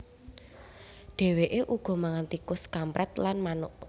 Dèwèké uga mangan tikus kamprèt lan manuk